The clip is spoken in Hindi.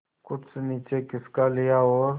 कुछ नीचे खिसका लिया और